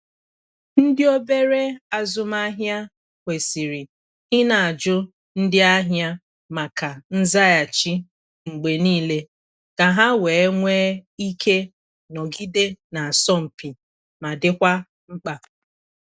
Ndị obere azụmahia kwesịrị ị na-ajụ ndị ahịa maka nzaghachi mgbe niile ka ha wee nwe ike nọgide na-asọmpi ma dikwa mkpa.